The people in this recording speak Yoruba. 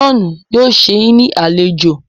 John yóò sé yín ní alejò.